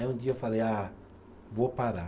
Aí um dia eu falei, ah, vou parar.